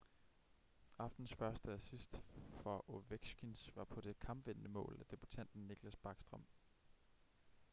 aftenens første assist for ovechkins var på det kampvindende mål af debutanten nicklas backstrom